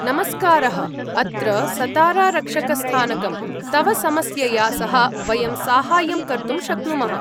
नमस्कारः, अत्र सतारारक्षकस्थानकं, तव समस्यया सह वयं साहाय्यं कर्तुं शक्नुमः।